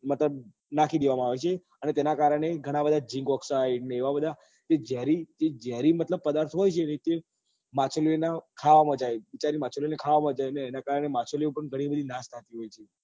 બધા નાખી દેવા માં આવે છે અને તેના કારણે ગણ બધા ને એવા બધા જે જેરી જે જેરી મતલબ પદાર્થો હોય ને તે માછલીઓ ના ખાવા માં જાય છે બચારી માછલીઓ ને ખાવા માં જાય અને એના કારણે માછલીઓ પણ ગણી બધી નાશ પામતી હોય છે